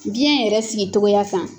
Biyɛn yɛrɛ sigitogoya kan